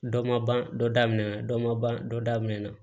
Dɔ ma ban dɔ daminɛ na dɔ ma ban dɔ daminɛ na